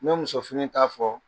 N ma muso fini ta fɔ.